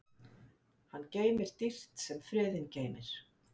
Hann geymir dýrt sem friðinn geymir.